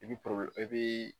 I bi i bi